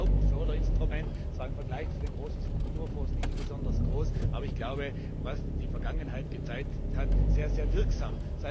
Das ist ja das Hauptförderinstrument, zwar im Vergleich zu den großen Strukturfonds nicht besonders groß, aber ich glaube, wie die Vergangenheit gezeigt hat, sehr wirksam.